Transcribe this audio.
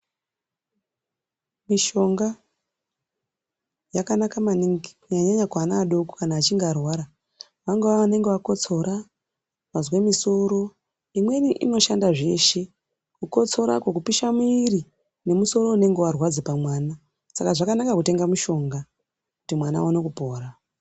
Mishonga yakanaka maningi kunyanya nyanya kuana adoko achinge arwara. Vangave vanenge vakotsora, vazwe misoro imweni inoshanda zveshe, kukotsorako, kupisha mwiri nemusoro unenge warwadza pamwana. Saka zvakanaka kutenga mushonga kuti mwana awone kupora.